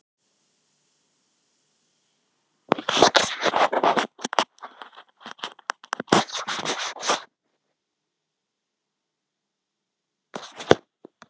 Síðan teymir húsbóndinn hestinn lengra út á varpann, þar sem gras er undir.